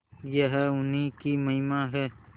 यह उन्हीं की महिमा है